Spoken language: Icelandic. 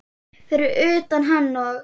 Fyrir utan hann og